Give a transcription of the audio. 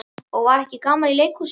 Og var ekki gaman í leikhúsinu?